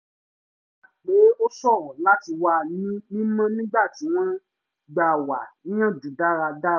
wọ́n gbà pé ó ṣòro láti wà ní mímọ́ nígbà tí wọ́n gbà wá níyànjú dára dára